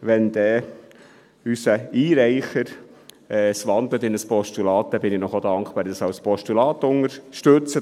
Wenn unser Einreicher es in ein Postulat wandelt, bin ich Ihnen auch dankbar, wenn Sie es als Postulat unterstützen.